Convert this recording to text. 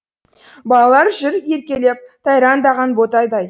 балалар жүр еркелеп тайраңдаған ботайдай